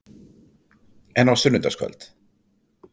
En á sunnudagskvöld?